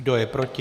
Kdo je proti?